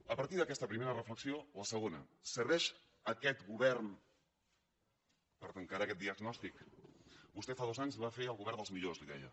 a partir d’aquesta reflexió la segona serveix aquest govern per encarar aquest diagnòstic vostè fa dos anys va fer el govern dels millors en deia